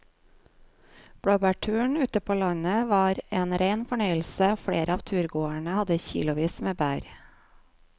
Blåbærturen ute på landet var en rein fornøyelse og flere av turgåerene hadde kilosvis med bær.